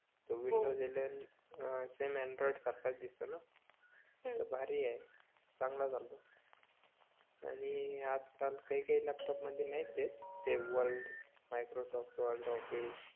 Windows eleven अं same Android सारखाच दिसतो न भारि आहे चांगला चालतो आणि काही काही लॅपटॉप मध्ये नाही ते ते वर्ड, मायक्रोसॉफ्ट वर्ड, ऑफिस